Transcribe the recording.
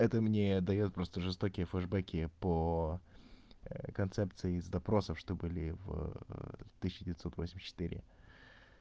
это мне даёт просто жестокие флешбеки по концепции из допросов что были в тысяча девятьсот восемьдесят четыре